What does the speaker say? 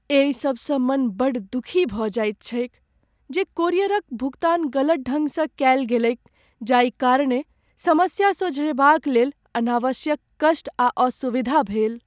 एहि सबसँ मन बड़ दुखी भऽ जाइत छैक जे कोरियरक भुगतान गलत ढङ्ग सँ कयल गेलैक जाहि कारणे समस्या सोझरेबाक लेल अनावश्यक कष्ट आ असुविधा भेल।